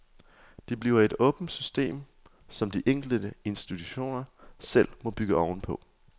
Det bliver et åbent system, som de enkelte institutioner selv må bygge oven på.